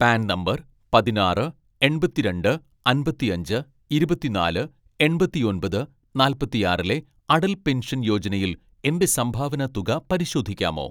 pan number പതിനാറ് എൺപത്തിരണ്ട്‍ അമ്പത്തിയഞ്ച് ഇരുപത്തിനാല് എൺപത്തിയൊമ്പത് നാല്പത്തിയാറിലെ അടൽ പെൻഷൻ യോജനയിൽ എന്റെ സംഭാവന തുക പരിശോധിക്കാമോ